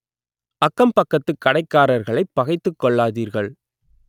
அக்கம் பக்கத்து கடைக்காரர்களைப் பகைத்துக் கொள்ளாதீர்கள்